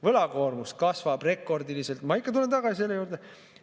Võlakoormus kasvab rekordiliselt, ma ikka tulen tagasi selle juurde.